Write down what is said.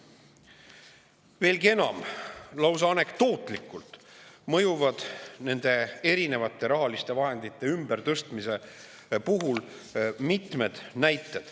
Veelgi enam, lausa anekdootlikult mõjuvad mitmed näited nende rahaliste vahendite ümbertõstmise kohta.